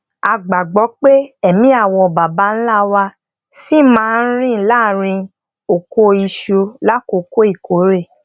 a gbàgbó pé emí àwọn baba ńlá wa ṣì máa ń rìn láàárín oko isu lakoko ìkórè